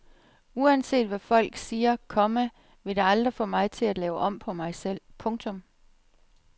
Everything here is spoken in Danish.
Uanset hvad folk siger, komma vil det aldrig få mig til at lave om på mig selv. punktum